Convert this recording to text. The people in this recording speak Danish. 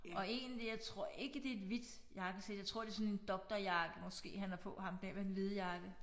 Og egentlig jeg tror ikke det et hvidt jakkesæt jeg tror det sådan en doktorjakke måske han har på ham der med den hvide jakke